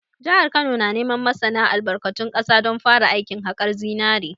Jihar Kano na neman masana albarkatun ƙasa don fara aikin haƙar zinare